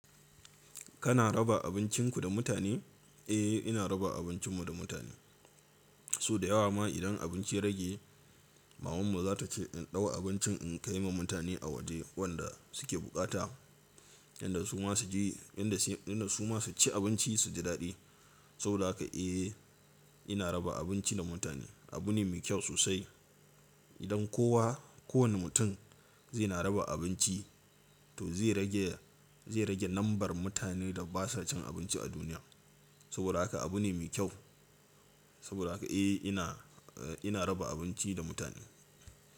Kana raba abincinku da mutane? Eh, ina raba abincinmu da mutane. So dayawa ma idan abinci rage maman mu zata ce in ɗau abincin in kai ma mutane a waje wanda suke buƙata. Yanda su ma suci abinci suji daɗi. Saboda haka eh ina raba abinci da mutane. Abu ne mai kyau sosai. Idan kowa, kowane mutum zai na raba abinci to zai rage, zai rage lambar mutanen da ba sa cin abinci a duniya. Saboda haka abu ne mai kyau. Saboda haka eh ina, eh ina raba abinci da mutane.